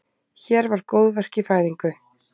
Hér var góðverk í fæðingu.